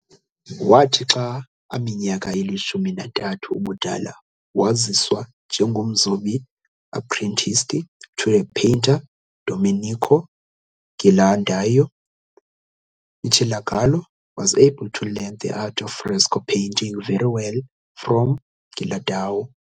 Wathi xa aminyaka ilishumi nantathu ubudala, waziswa njengomzobi apprenticed to the painter Domenico Ghirlandaio. Michelangelo was able to learn the art of fresco painting very well, from Ghirlandaio.